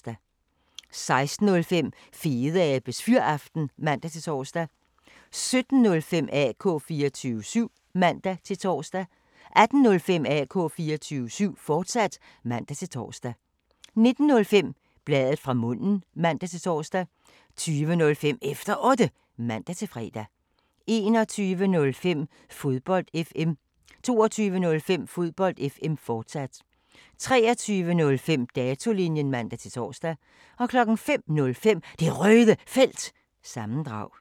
16:05: Fedeabes Fyraften (man-tor) 17:05: AK 24syv (man-tor) 18:05: AK 24syv, fortsat (man-tor) 19:05: Bladet fra munden (man-tor) 20:05: Efter Otte (man-fre) 21:05: Fodbold FM 22:05: Fodbold FM, fortsat 23:05: Datolinjen (man-tor) 05:05: Det Røde Felt – sammendrag